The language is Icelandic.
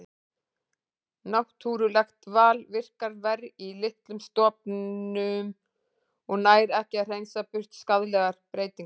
Náttúrulegt val virkar verr í litlum stofnum og nær ekki að hreinsa burt skaðlegar breytingar.